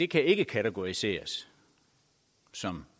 kan ikke kategoriseres som